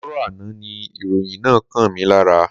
Àárọ̀ àná ni ìròyìn náà kàn mí lára.